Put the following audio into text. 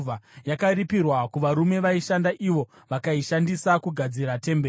Yakaripirwa kuvarume vaishanda, ivo vakaishandisa kugadzira temberi.